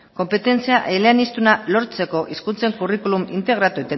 konpetentzia eleaniztuna lortzeko hizkuntza curriculum integratu